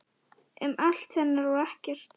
Um allt hennar og ekkert.